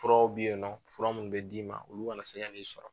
Furaw bi yen nɔ fura minnu bɛ d'i ma olu kana se ka n'i sɔrɔ.